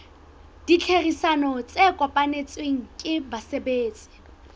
ditherisano tse kopanetsweng ke basebetsi